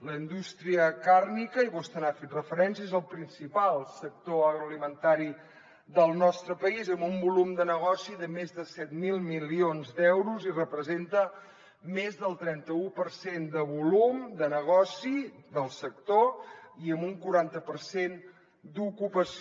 la indústria càrnia i vostè hi ha fet referència és el principal sector agroalimentari del nostre país amb un volum de negoci de més de set mil milions d’euros i representa més del trenta u per cent de volum de negoci del sector i amb un quaranta per cent d’ocupació